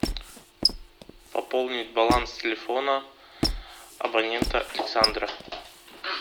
пополнить баланс телефона абонента александра